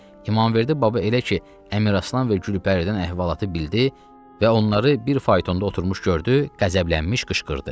İmamverdi baba elə ki Əmiraslan və Gülpəridən əhvalatı bildi və onları bir faytonda oturmuş gördü, qəzəblənmiş qışqırdı.